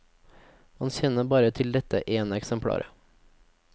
Man kjenner bare til dette ene eksemplaret.